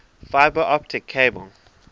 fiber optic cable